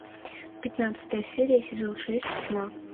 пятнадцатая серия сезон шесть тьма